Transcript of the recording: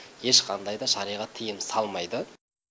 ешқандай да шариғат тыйым салмайды